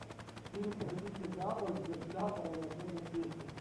фильм про дикий запад где шляпа равноценна чести